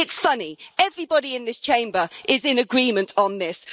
It's funny everybody in this Chamber is in agreement on this.